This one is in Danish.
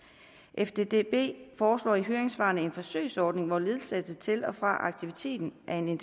fddb foreslår i høringssvarene en forsøgsordning hvor ledsagelse til og fra aktiviteten er en